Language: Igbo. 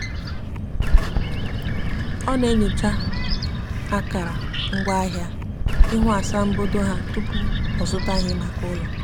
ọ na-enyocha akara ngwa ahia ihu asambodo ha tụpụ ọzụta ihe maka ụlọ